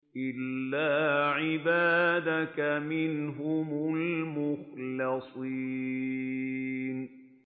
إِلَّا عِبَادَكَ مِنْهُمُ الْمُخْلَصِينَ